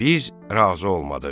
Biz razı olmadıq.